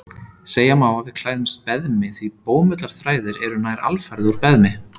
Segja má að við klæðumst beðmi því bómullarþræðir eru nær alfarið úr beðmi.